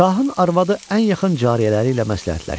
Şahın arvadı ən yaxın cariyələri ilə məsləhətləşdi.